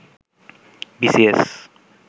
B C S